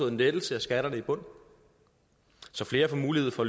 en lettelse af skatterne i bunden så flere får mulighed for